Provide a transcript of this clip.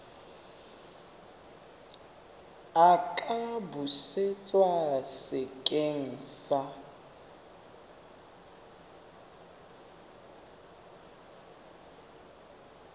a ka busetswa sekeng sa